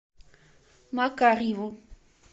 макарьеву